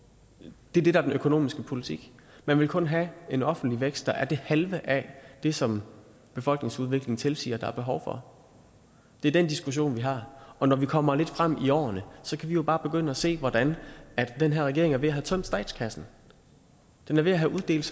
det er det der er den økonomiske politik man vil kun have en offentlig vækst der er det halve af det som befolkningsudviklingen tilsiger der er behov for det er den diskussion vi har og når vi kommer lidt frem i årene kan vi jo bare begynde at se hvordan den her regering er ved at have tømt statskassen den er ved at have uddelt